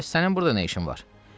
"Bəs sənin burda nə işin var?"